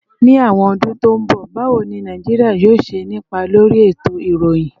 Ní àwọn ọdún tó ń bọ̀, báwo ni Nàìjíríà yóò ṣe nípa lórí ètò ìròyìn?